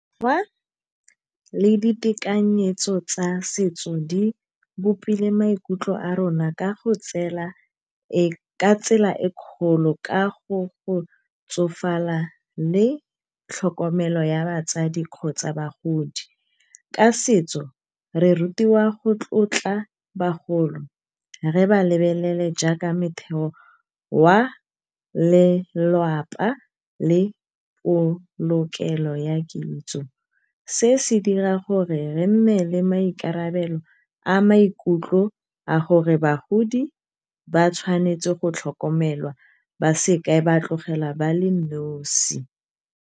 le ditekanyetso tsa setso di bopile maikutlo a rona ka tsela e kgolo ka go go tsofala le tlhokomelo ya batsadi kgotsa bagodi. Ka setso re rutiwa go tlotla bagolo re ba lebelele jaaka metheo wa lelapa, le polokelo ya kitso. Se se dira gore re nne le maikarabelo a maikutlo a gore bagodi, ba tshwanetse go tlhokomelwa baseka ba tlogelwa ba le nosi.